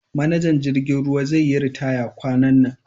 manajan jirgin ruwa zeyi ritaya kwanan nan